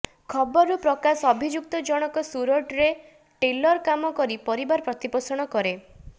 ଖବରରୁ ପ୍ରକାଶ ଅଭିଯୁକ୍ତ ଜଣକ ସୁରଟରେ ଟେଲର କାମ କରି ପରିବାର ପ୍ରତିପୋଷଣ କରେ